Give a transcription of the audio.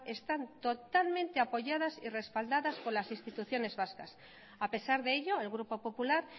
están totalmente apoyadas y respaldadas por las instituciones vascas a pesar de ello el grupo popular